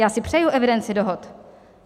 Já si přeju evidenci dohod.